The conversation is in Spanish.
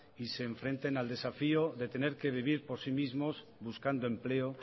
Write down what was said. y se enfrenten al desafío de tener que vivir por sí mismos buscando empleo